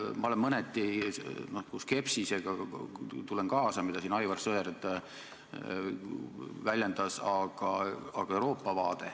Ma tulen mõneti kaasa skepsisega, mida Aivar Sõerd siin väljendas.